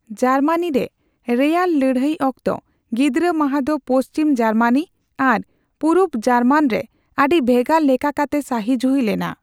Germany ᱨᱮ, ᱨᱮᱭᱟᱲ ᱞᱟᱹᱲᱦᱟᱭ ᱚᱠᱛᱚ, ᱜᱤᱫᱽᱨᱟᱹ ᱢᱟᱦᱟ ᱫᱚ ᱯᱚᱥᱪᱷᱤᱢ ᱡᱟᱨᱢᱟᱱᱤ ᱟᱨ ᱯᱩᱨᱩᱵ ᱡᱟᱨᱢᱟᱱ ᱨᱮ ᱟᱹᱰᱤ ᱵᱷᱮᱜᱟᱨ ᱞᱮᱠᱟ ᱠᱟᱛᱮ ᱥᱟᱹᱦᱤᱡᱩᱦᱤ ᱞᱮᱱᱟ ᱾